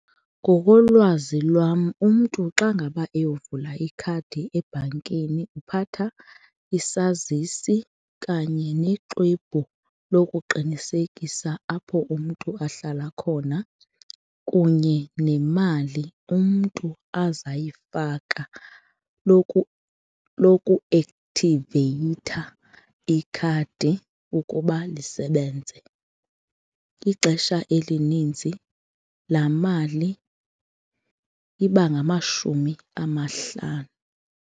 Ngokolwazi lwam umntu xa ngaba eyovula ikhadi ebhankini uphatha isazisi kanye nexwebhu lokuqinisekisa apho umntu ahlala khona kunye nemali umntu azayifaka lokuakthiveyitha ikhadi ukuba lisebenze. Ixesha elininzi laa mali iba ngamashumi amahlanu.